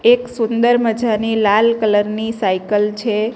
એક સુંદર મજાની લાલ ની છે.